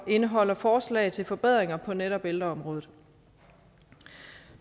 indeholder forslag til forbedringer på netop ældreområdet